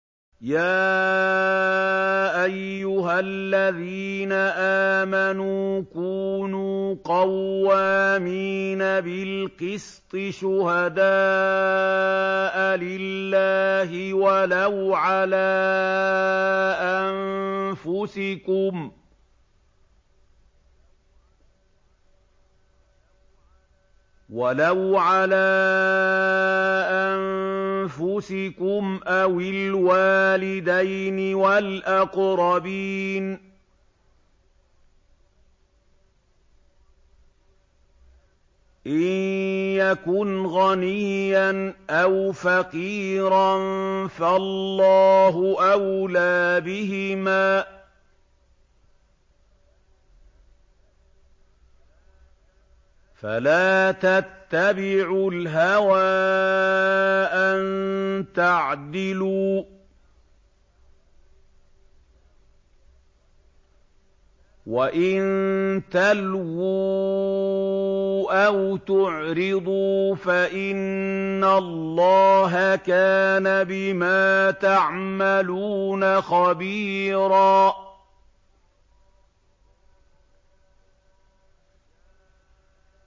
۞ يَا أَيُّهَا الَّذِينَ آمَنُوا كُونُوا قَوَّامِينَ بِالْقِسْطِ شُهَدَاءَ لِلَّهِ وَلَوْ عَلَىٰ أَنفُسِكُمْ أَوِ الْوَالِدَيْنِ وَالْأَقْرَبِينَ ۚ إِن يَكُنْ غَنِيًّا أَوْ فَقِيرًا فَاللَّهُ أَوْلَىٰ بِهِمَا ۖ فَلَا تَتَّبِعُوا الْهَوَىٰ أَن تَعْدِلُوا ۚ وَإِن تَلْوُوا أَوْ تُعْرِضُوا فَإِنَّ اللَّهَ كَانَ بِمَا تَعْمَلُونَ خَبِيرًا